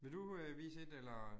Vil du øh vise et eller